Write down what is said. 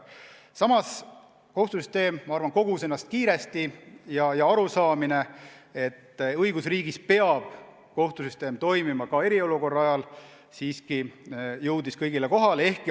Samas kohtusüsteem minu arvates kogus ennast kiiresti ja arusaamine, et õigusriigis peab kohtusüsteem toimima ka eriolukorra ajal, siiski jõudis kõigile kohale.